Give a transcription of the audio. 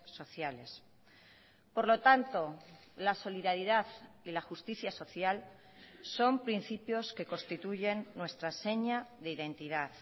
sociales por lo tanto la solidaridad y la justicia social son principios que constituyen nuestra seña de identidad